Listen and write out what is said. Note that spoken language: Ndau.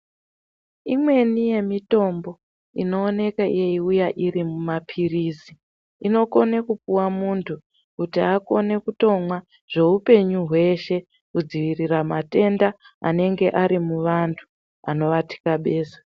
Imweni yemitombo inooneke yeiuya iri mumapirizi, inokone kupuwa muntu kuti akone kutomwa zveupenyu hweshe kudzivirira matenda anenge ari muvantu anovathikabeza.